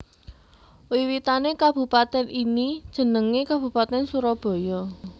Wiwitané kabupatèn ini jenengé Kabupatèn Surabaya